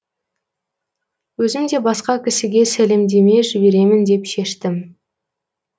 өзім де басқа кісіге сәлемдеме жіберемін деп шештім